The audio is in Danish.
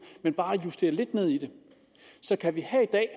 men bare justere lidt ned i det så kan vi her i dag